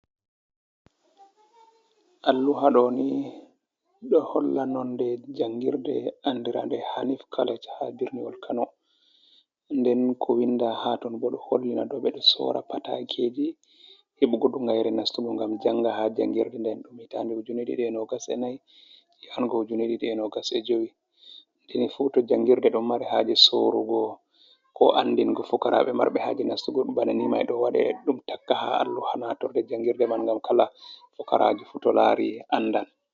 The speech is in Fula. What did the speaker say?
Alluha ɗo ni ɗo holla nonde jangirde andirade hanif collej ha birniwol kano, nden ko winda ha ton bo ɗo hollina dou ɓe ɗo sora patakeji heɓugo dungayere nastugo ngam janga ha jangirde nden ɗum hiitande ujune ɗiɗi e nogas e nay, ya ha go ujune ɗiɗi e nogas e jui, deni fu to jangirde do mare haje sorugo ko andingo fukarabe marbe haje nastugo banani mai ɗo waɗe ɗum taka ha alluha natorde jangirde man, ngam kala pukaraji fu to lari and an.